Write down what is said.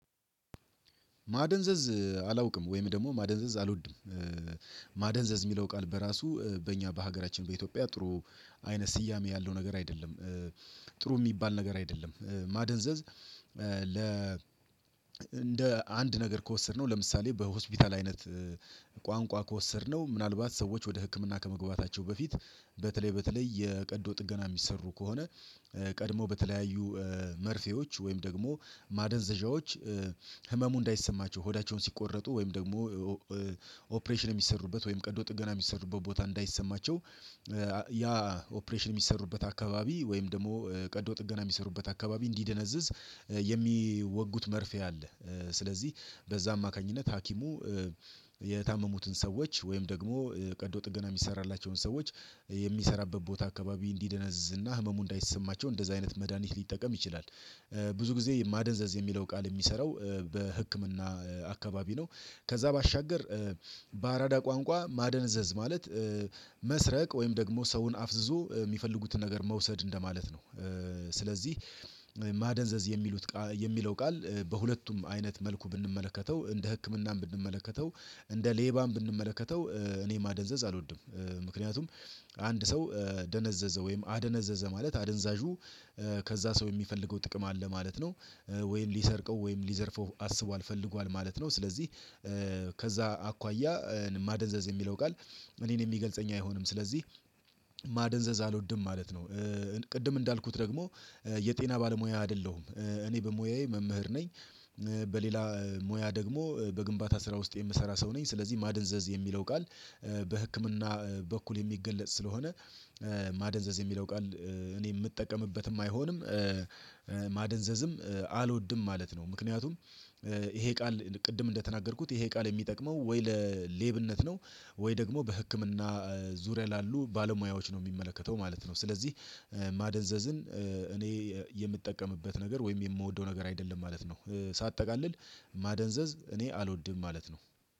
ማደንዘዝ አላውቅም ወይም ደግሞ ማደንዘዝ አልወድም። ማደንዘዝ የሚለው ቃል በራሱ በእኛ በሀገራችን በኢትዮጵያ ጥሩ አይነት ስያሜ ያለው ነገር አይደለም ጥሩ የሚባል ነገር አይደለም ማደንዘዝ። ለ እንደ አንድ ነገር ከወሰድነው ለምሳሌ በሆስፒታል አይነት ቋንቋ ከወሰድነው ምናልባት ሰዎች ወደ ህክምና ከመግባታቸው በፊት በተለይ በተለይ የቀዶ ጥገና የሚሰሩ ከሆነ ቀድመው በተለያዩ መርፌዎች ወይም ደግሞ ማደንዘዣዎች ህመሙ እንዳይሰማቸው ሆዳቸውን ሲቆረጡ ወይም ደግሞ ኦፕሬሽን የሚሰሩበት ወይም ቀዶ ጥገና የሚሰሩበት ቦታ እንዳይሰማቸው ያ ኦፕሬሽን የሚሰሩበት አካባቢ ወይም ደግሞ ቀዶ ጥገና የሚሰሩበት አካባቢ እንዲደነዝዝ የሚወጉት መርፌ አለ። ስለዚህ በዛ አማካኝነት ሀኪሙ የታመሙትን ሰዎች ወይም ደግሞ ቀዶ ጥገና የሚሰራላቸውን ሰዎች የሚሰራበት ቦታ አካባቢ እንዲደነዝዝ እና ህመሙ እንዳይሰማቸው እንደዛ አይነት መድሃኒት ሊጠቀም ይችላል። ብዙ ጊዜ ማደንዘዝ የሚለው ቃል የሚሰራው በህክምና አካባቢ ነው። ከዛ ባሻገር በአራዳ ቋንቋ ማደንዘዝ ማለት መስረቅ ወይም ደግሞ ሰውን አፍዝዞ የሚፈልጉትን ነገር መውሰድ እንደማለት ነው። ስለዚህ ማደንዘዝ የሚለው ቃል በሁለቱም አይነት መልኩ ብንመለከተው እንደ ህክምናም ብንመለከተው እንደ ሌባም ብንመለከተው እኔ ማደንዘዝ አልወድም ምክንያቱም አንድ ሰው ደነዘዘ ወይም አደነዘዘ ማለት አደንዛዡ ከዛ ሰው የሚፈልገው ጥቅም አለ ማለት ነው። ወይም ሊሰርቀው ወይም ሊዘርፈው አስቧል ፈልጓል ማለት ነው። ስለዚህ ከዛ አኳያ ማደንዘዝ የሚለው ቃል እኔን የሚገልጸኝ አይሆንም። ስለዚህ ማደንዘዝ አልወድም ማለት ነው። ቅድም እንዳልኩት ደግሞ የጤና ባለሙያ አይደለሁም እኔ በሙያዬ መምህር ነኝ። በሌላ ሙያ ደግሞ በግንባታ ስራ ውስጥ የምሰራ ሰው ነኝ ስለዚህ ማደንዘዝ የሚለው ቃል በህክምና በኩል የሚገለጽ ስለሆነ ማደንዘዝ የሚለው ቃል እኔ የምጠቀምበትም አይሆንም። ማደንዘዝም አልወድም ማለት ነው ምክንያቱም ይሄ ቃል ቅድም እንደተናገርኩት ይሄ ቃል የሚጠቅመው ወይ ለሌብነት ነው ወይ ደግሞ በህክምና ዙሪያ ላሉ ባለሙያዎች ነው የሚመለከተው ማለት ነው። ስለዚህ ማደንዘዝን እኔ የምጠቀምበት ነገር ወይም የምወደው ነገር አይደለም ማለት ነው። ሳጠቃልል ማደንዘዝ እኔ አልወድም ማለት ነው